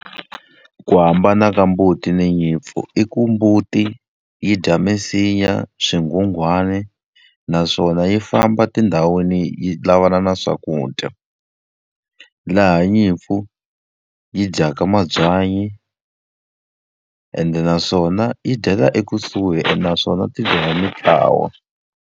ku hambana ka mbuti na nyimpfu i ku mbuti yi dya misinya, swinghunghwani, naswona yi famba tindhawini yi yi lavana na swakudya. Laha nyimpfu yi dyaka mabyanyi, ende naswona yi dyela ekusuhi ene naswona ti dya hi mintlawa.